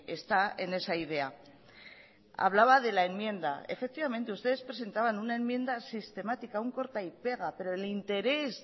está en esa idea hablaba de la enmienda efectivamente ustedes presentaban una enmienda sistemática un corta y pega pero el interés